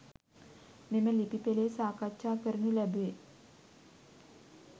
මෙම ලිපි පෙලේ සාකච්ඡා කරනු ලැබේ.